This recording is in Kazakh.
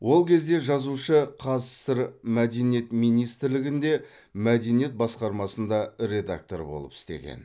ол кезде жазушы қазсср мәдениет министрлігінде мәдениет басқармасында редактор болып істеген